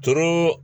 Doro